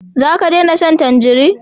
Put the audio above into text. Za ka dena shan tanjari?